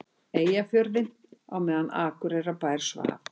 Eyjafjörðinn á meðan Akureyrarbær svaf.